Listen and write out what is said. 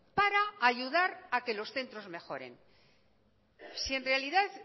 para ayudar a que los centros mejoren si en realidad